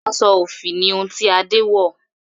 aṣọ òfì ni ohun ti Ade wọ